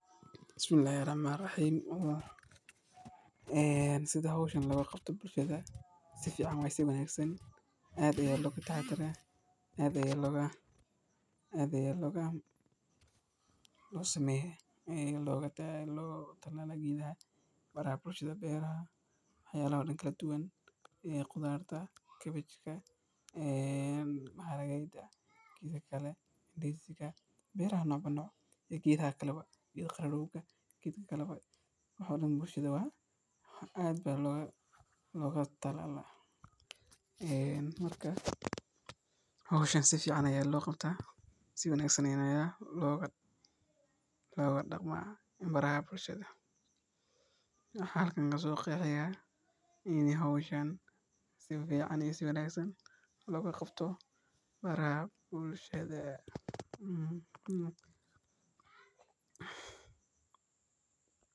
Geedka calenta cagaaran waa geed dabiici ah oo caan ka ah deegaannada Soomaalida iyo dalal badan oo Afrikaan ah. Waa geed leh caleemo tufaax u eg oo cagaaran oo dhalaalaya, waxaana uu bixiyaa miro yar-yar ama caleemo udgoon leh. Geedkan waxaa loo adeegsadaa dhinacyo badan — sida daawo dhaqameed, qurxinta deegaanka, iyo xitaa mararka qaar, calafka xoolaha. Caleemaha calenta cagaaran waxaa dadka qaarkood.